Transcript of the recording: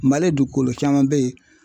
Mali dugukolo caman be yen